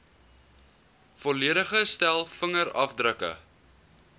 volledige stel vingerafdrukke